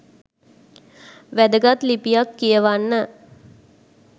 වැදගත් ලිපියක් කියවන්න